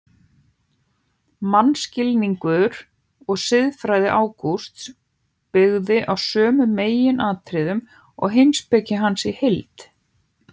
Mannskilningur og siðfræði Ágústs byggði á sömu meginatriðum og heimspeki hans í heild.